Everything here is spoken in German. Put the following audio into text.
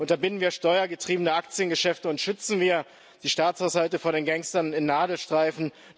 Unterbinden wir steuergetriebene Aktiengeschäfte und schützen wir die Staatshaushalte vor den Gangstern in Nadelstreifen!